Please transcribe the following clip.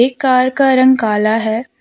एक कार का रंग काला है।